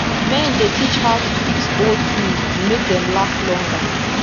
men dey teach how to fix old tools to make dem last longer